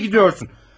Nereye gidiyorsun?